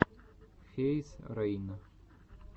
фейз рейн